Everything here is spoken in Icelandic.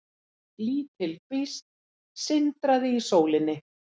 Lítil kvísl sindraði í sólinni.